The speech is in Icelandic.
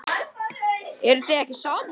Eruð þið ekki saman?